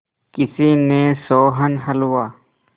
किसी ने सोहन हलवा